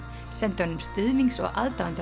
sendi honum stuðnings og